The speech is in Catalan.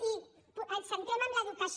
i ens centrem en l’educació